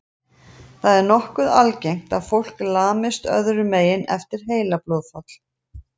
Það er nokkuð algengt að fólk lamist öðrum megin eftir heilablóðfall.